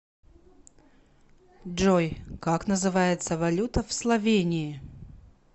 джой как называется валюта в словении